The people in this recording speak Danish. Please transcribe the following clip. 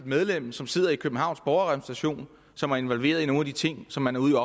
medlem som sidder i københavns borgerrepræsentation som er involveret i nogle af de ting som man ude